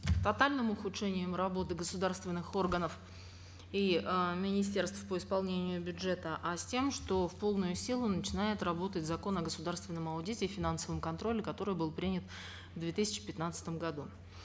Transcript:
тотальном ухудшением работы государственных органов и э министерств по исполнению бюджета а с тем что в полную силу начинает работать закон о государственном аудите и финансовом контроле который был принят в две тысячи пятнадцатом году